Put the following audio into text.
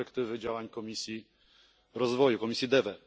z perspektywy działań Komisji Rozwoju, komisji DEVE.